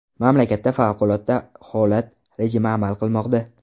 Mamlakatda favqulodda holat rejimi amal qilmoqda.